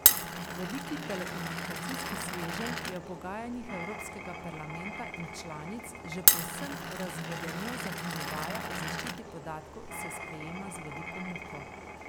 Veliki telekomunikacijski sveženj je v pogajanjih Evropskega parlamenta in članic že povsem razvodenel, zakonodaja o zaščiti podatkov se sprejema z veliko muko.